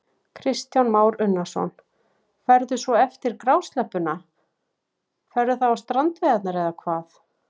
Kristján Már Unnarsson: Ferðu svo eftir grásleppuna, ferðu þá á strandveiðarnar eða hvað?